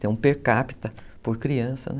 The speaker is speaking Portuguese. Tem um per capita por criança, né?